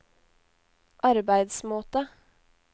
arbeidsmåte